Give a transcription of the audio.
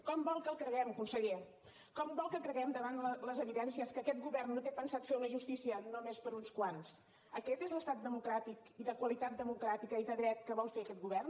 com vol que el creguem conseller com vol que creguem davant les evidències que aquest govern no té pensat fer una justícia només per a uns quants aquest és l’estat democràtic i de qualitat democràtica i de dret que vol fer aquest govern